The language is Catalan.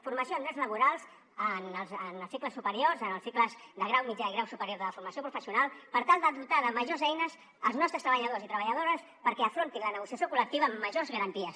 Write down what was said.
formació en drets laborals en els cicles superiors en els cicles de grau mitjà i grau superior de formació professional per tal de dotar de majors eines als nostres treballadors i treballadores perquè afrontin la negociació col·lectiva amb majors garanties